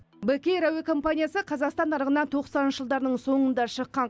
бек эйр әуе компаниясы қазақстан нарығына тоқсаныншы жылдарының соңында шыққан